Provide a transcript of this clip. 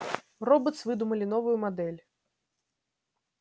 роботс выдумали новую модель